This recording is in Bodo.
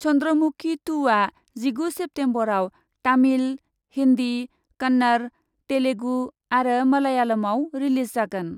चन्द्रमुकि टु आ जिगु सेप्तेम्बरआव तामिल, हिन्दी, कन्नड़, तेलुगु आरो मलायालमआव रिलिज जागोन।